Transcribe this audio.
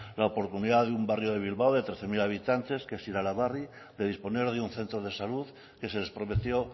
la oportunidad de un barrio de bilbao de trece mil habitantes que es iralabarri de disponer de un centro de salud que se les prometió